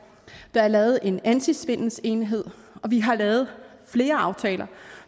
der er lavet en antisvindelenhed og vi har lavet aftaler